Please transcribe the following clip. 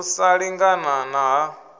u sa lingana na ha